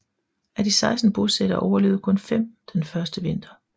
Af de 16 bosættere overlevede kun fem den første vinter